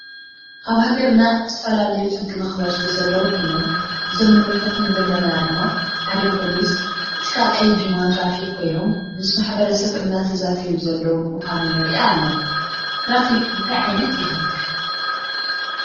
አብ ሃገርና ዝተፈላለዮ ሕጊ መክበርቲ ዘለው ኮይኖም እዞም ንምልከቶም ዘለና ድማ ሐደ ፖሊሰ እቲ ካልአይ ድማ ትራፊክ ኮይኖም ምስ ማሕበረሰብ እናተዛተዮ ዘለው ምካኑ ንርኢ አለና ።ትራፊክ እንታይ ዓይነት የክብር?